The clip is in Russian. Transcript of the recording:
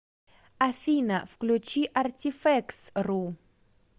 афина включи артифэкс ру